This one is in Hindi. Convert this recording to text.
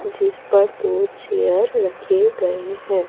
जिसपर दो चेयर रखे गए हैं।